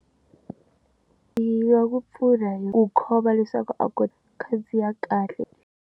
Hi nga ku pfuna hi ku khoma leswaku a ku khandziya kahle.